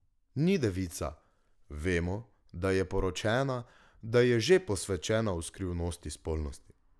Ni devica, vemo, da je poročena, da je že posvečena v skrivnosti spolnosti.